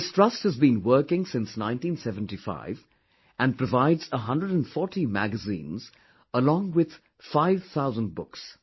This trust has been working since 1975 and provides 140 magazines, along with 5000 books